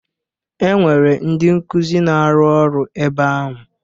E nwere ndị nkuzi na-arụ ọru ebe ahụ.